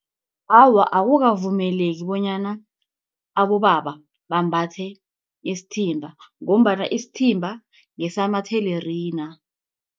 Awa, akukavumeleki bonyana abobaba bambathe isithimba, ngombana isithimba ngesamathelerina.